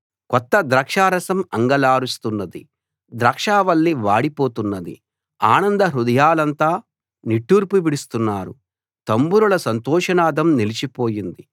కొత్త ద్రాక్షారసం అంగలారుస్తున్నది ద్రాక్షావల్లి వాడి పోతున్నది ఆనంద హృదయులంతా నిట్టూర్పు విడుస్తున్నారు తంబురల సంతోషనాదం నిలిచిపోయింది